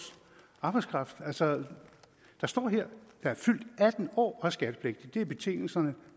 arbejdskraft altså der står her … der er fyldt atten år og er skattepligtige det er betingelserne